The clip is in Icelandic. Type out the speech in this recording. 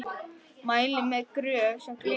Mæli með Gröf sem gleður.